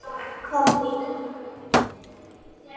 Hvað hét hún?